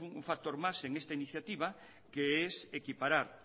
un factor más en esta iniciativa que es equiparar